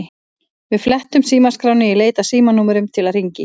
Við flettum símaskránni í leit að símanúmerum til að hringja í.